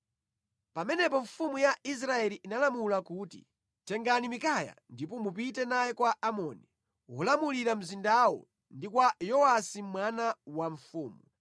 Pamenepo mfumu ya Israeli inalamula kuti, “Tengani Mikaya ndipo mupite naye kwa Amoni, wolamulira mzindawo ndi kwa Yowasi mwana wa mfumu,